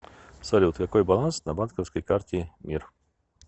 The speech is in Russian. салют какой баланс на банковской карте мир